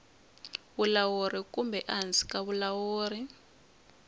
vulawuri kumbe ehansi ka vulawuri